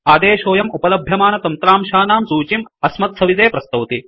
आदेशोऽयम् उपलभ्यमानतन्त्रांशानां सूचीम् अस्मत्सविधे प्रस्तौति